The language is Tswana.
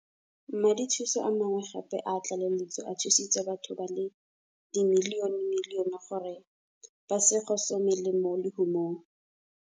Madithuso a mangwe gape a tlaleletso a thusitse batho ba le dimilionemilione gore ba se gosomele mo lehumeng.